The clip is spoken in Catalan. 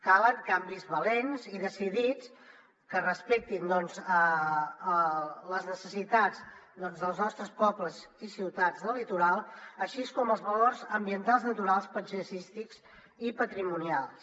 calen canvis valents i decidits que respectin doncs les necessitats dels nostres pobles i ciutats del litoral així com els valors ambientals naturals paisatgístics i patrimonials